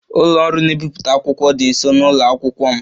Ụlọ ọrụ na-ebipụta akwụkwọ dị nso na ụlọ akwụkwọ m